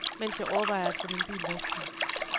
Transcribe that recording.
Mens jeg overvejer at få min bil vasket.